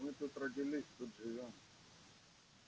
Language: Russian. мы тут родились тут живём